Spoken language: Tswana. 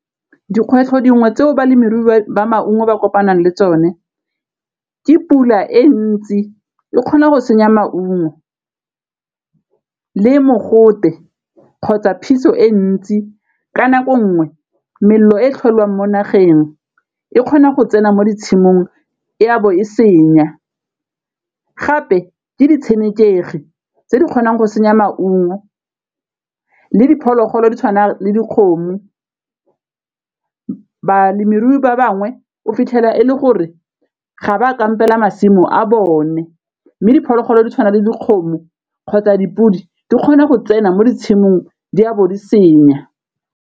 Dikgwetlho dingwe tseo balemirui ba maungo ba kopanang le tsone ke pula e ntsi e kgona go senya maungo le mogote kgotsa phiso e ntsi, ka nako nngwe melelo e e tlholang mo nageng e kgona go tsena mo di tshimong e a bo e senya, gape ke di tshenekegi tse di kgonang go senya maungo le diphologolo di tshwana le dikgomo, balemirui ba bangwe o fitlhela e le gore ga ba kampela masimo a bone mme diphologolo di tshwana le dikgomo kgotsa dipodi di kgona go tsena mo ditshimong di a bo di senya.